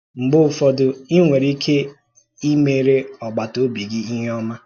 Mgbe ụfọdụ, ì nwere ike ímèrè ọ̀gbàtà-òbì gị ihe ọma.